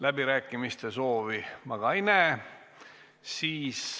Läbirääkimiste soovi ma ei näe.